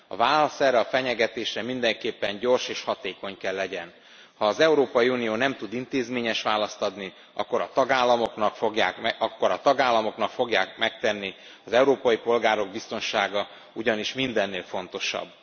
A válasz erre a fenyegetésre mindenképpen gyors és hatékony kell legyen ha az Európai Unió nem tud intézményes választ adni, akkor a tagállamok fogják megtenni, az európai polgárok biztonsága ugyanis mindennél fontosabb.